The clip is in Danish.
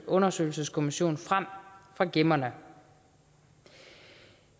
undersøgelseskommission frem fra gemmerne